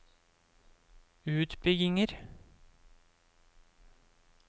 utbygginger